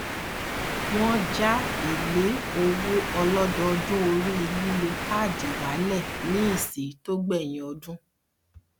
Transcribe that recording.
wọn já èlé owó ọlọdọọdún orí lílo káàdì wálẹ ní ìsí tó gbẹyìn ọdún